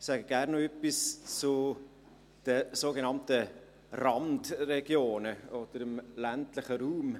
Ich sage gerne noch etwas zu den sogenannten Randregionen oder zum ländlichen Raum.